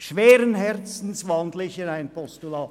Schweren Herzens wandle ich in ein Postulat.